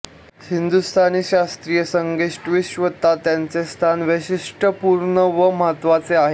हिंदुस्थानी शास्त्रीय संगीतविश्वात त्यांचे स्थान वैशिष्ट्यपूर्ण व महत्त्वाचे आहे